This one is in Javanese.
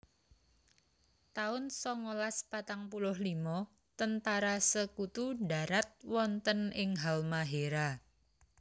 taun songolas patang puluh limo Tentara Sekutu ndharat wonten ing Halmahéra